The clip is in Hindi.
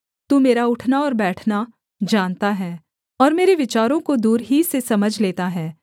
तू मेरा उठना और बैठना जानता है और मेरे विचारों को दूर ही से समझ लेता है